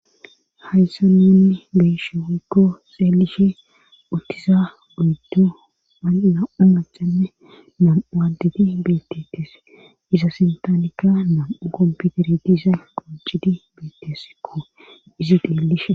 Hayssan nuni geeshe woykko xeelishe uttiza guydo nam7u machanne nam7uaadeti beetetes iza sintanika nam7u komputere diza qoncidi betesikko izi xeelishe.